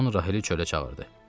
Simeon Rahili çölə çağırdı.